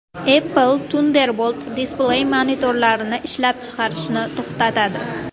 Apple Thunderbolt Display monitorlarini ishlab chiqarishni to‘xtatadi.